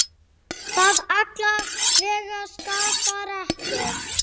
Það alla vega skaðar ekki.